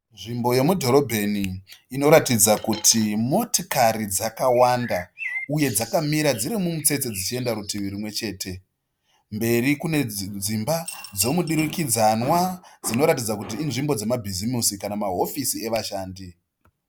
Nzvimbo yemudhorobheni inoratidza kuti motokari dzakawanda uye dzakamira dziri mumutsetse dzichienda rutivi rumwechete. Kumberi kune dzimba dzemudurikidzanwa dzinoratidza kuti inzvimbo dzemabhizimusi kana mahofisi evashandi.